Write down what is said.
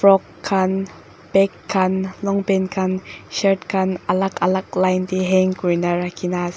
frock khan bag khan longpant khan shirt khan alag alag line teh hang kori na rakhi na as.